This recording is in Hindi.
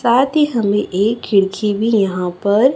साथ ही हमें एक खिड़की भी यहां पर--